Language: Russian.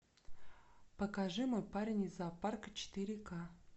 покажи мой парень из зоопарка четыре ка